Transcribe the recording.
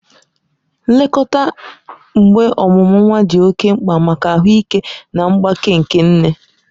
Nlekọta mgbe ọmụmụ nwa dị oke mkpa maka ahụike na mgbake nke nne.